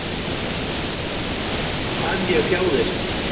Hvað ég þjáðist.